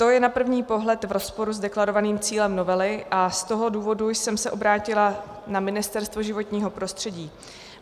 To je na první pohled v rozporu s deklarovaným cílem novely a z toho důvodu jsem se obrátila na Ministerstvo životního prostředí.